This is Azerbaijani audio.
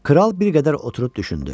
Kral bir qədər oturub düşündü.